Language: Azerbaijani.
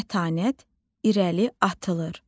Mətanət irəli atılır.